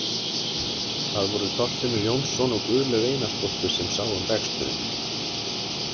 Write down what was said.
Það voru Þorfinnur Jónsson og Guðlaug Einarsdóttir sem sáu um reksturinn.